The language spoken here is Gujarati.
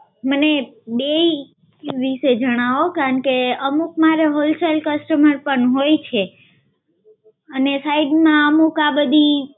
મને બેઈ વિશે જણાવો. કેમકે અમુક મારે wholesale customer પણ હોય છે અને side માં અમુક આ બધી